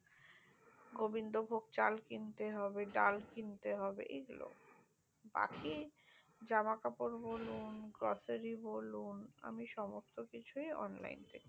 গোবিন্দ ভোগ চাল কিনতে হবে ডাল কিনতে হবে এইগুলো বাকি জামা কাপুর বলুন grocery বলুন আমি সমস্তত কিছুই আমি online পে করি